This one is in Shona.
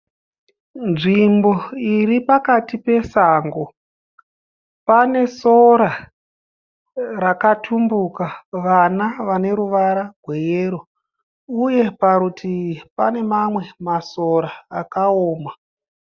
Nzvimbo iripakati pesango. Pane sora rakatumbuka vana vane ruvara rweyero, uye parutivi pane mamwe masora akaoma